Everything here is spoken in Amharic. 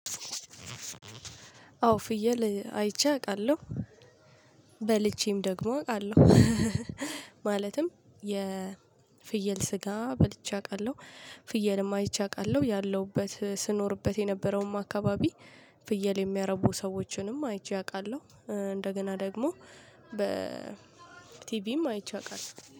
አዎ ፍየል አይቼ አቃለው። በልቼም ደግሞ አቃለው። ማለትም የፍየል ስጋ በልቼ አቃለው። ፍየልም አይቼ አቃለው ያለውበት ስኖርበት የነበረውም አካባቢ ፍየል የሚያረቡ ሰዎችንም አይቼ አቃለው። እንደገና ደግሞ በ ቲቪም አይቼ አቃለው